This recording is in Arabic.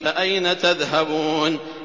فَأَيْنَ تَذْهَبُونَ